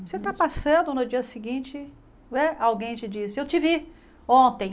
Você está passando, no dia seguinte né, alguém te diz, eu te vi ontem.